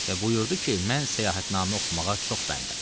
Və buyurdu ki, mən səyahətnamə oxumağa çox bəndəm.